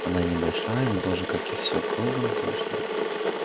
она небольшая но тоже как и всё кругом прочная